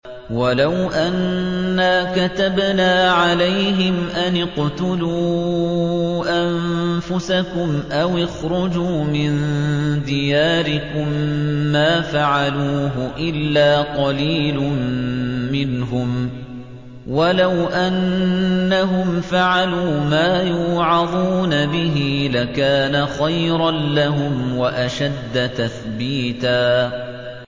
وَلَوْ أَنَّا كَتَبْنَا عَلَيْهِمْ أَنِ اقْتُلُوا أَنفُسَكُمْ أَوِ اخْرُجُوا مِن دِيَارِكُم مَّا فَعَلُوهُ إِلَّا قَلِيلٌ مِّنْهُمْ ۖ وَلَوْ أَنَّهُمْ فَعَلُوا مَا يُوعَظُونَ بِهِ لَكَانَ خَيْرًا لَّهُمْ وَأَشَدَّ تَثْبِيتًا